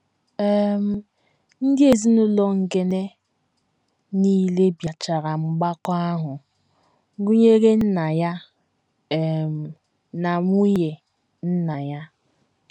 um Ndị ezinụlọ Ngene nile bịachara mgbakọ ahụ, gụnyere nna ya um na nwunye nna ya.